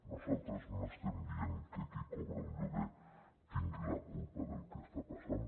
nosaltres no estem dient que qui cobra un lloguer tingui la culpa del que està passant